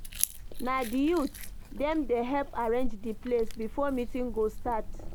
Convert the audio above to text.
Na di youth dem dey help arrange di place before meeting go start.